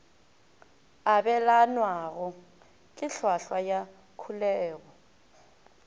abelanwago ke hlwahlwa ya kholego